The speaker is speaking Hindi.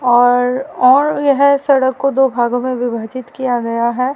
और और यह सड़क को दो भागों में विभाजित किया गया है।